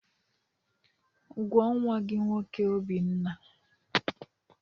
Gwụọ nwa gị nwoke Obinna!